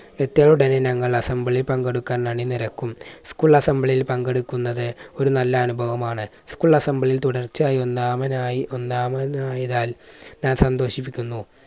എത്തിയ ഉടനെ ഞങ്ങൾ assembly യിൽ പങ്കെടുക്കാനായി അണിനിരക്കും. school assembly യിൽ പങ്കെടുക്കുന്നത് ഒരു നല്ല അനുഭവമാണ്. school assembly യിൽ തുടർച്ചയായി ഒന്നാമനായി ഒന്നാമനായതിനാൽ ഞാൻ സന്തോഷിപ്പിക്കുന്നു.